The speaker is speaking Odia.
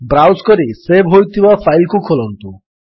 ବ୍ରାଉଜ୍ କରି ସେଭ୍ ହୋଇଥିବା ଫାଇଲ୍ କୁ ଖୋଲନ୍ତୁ